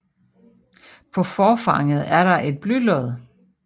På forfanget er der et blylod